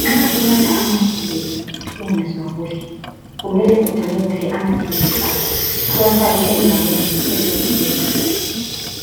Nxa unatha amaphilisi ungezwa kuhle, kumele ugcine kuhle amaphilisi akho, uwafake endaweni ephephileyo.